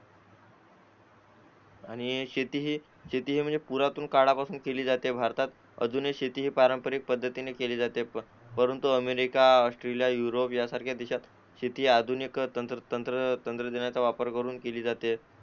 आणि हे शेतीचे म्हणजे पुरातन काळापासून शेती केली जाते भारतात अजूनही शेती पारंपारिक पद्धतीने केली जाते परंतु अमेरिका ऑस्ट्रेलिया युरोप यासारख्या देशांत शेती ही आधुनिक तंत्रज्ञानाचा वापर करून केलीजाते